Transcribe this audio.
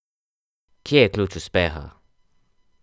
Kje je ključ uspeha?